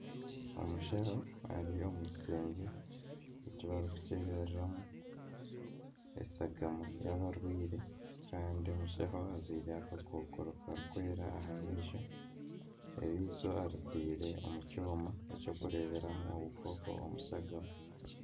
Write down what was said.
Omushaho ari omu kishengye ekibarikukyebereramu eshagama y'abarwaire kandi omushaho ajwaire akakokoro karikwera aha maisho, erisho eritaire omu kyooma eky'okureeberamu obukooko omu shagama.